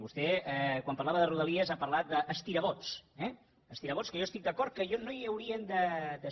vostè quan parlava de rodalies ha parlat d’ estirabots eh estirabots que jo estic d’acord que no hi haurien de ser